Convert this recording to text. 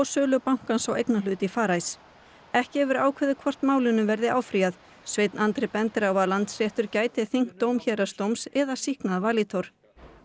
sölu bankans á eignarhlut í Farice ekki hefur verið ákveðið hvort málinu verði áfrýjað sveinn Andri bendir á að Landsréttur gæti þyngt dóm héraðsdóms eða sýknað Valitor